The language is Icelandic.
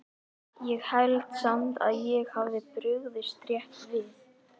Ég held samt að ég hafi brugðist rétt við